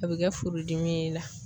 A be kɛ furudimi ye e la